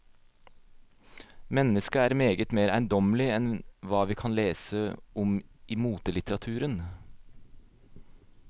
Mennesket er meget mer eiendommelig enn hva vi kan lese om i motelitteraturen.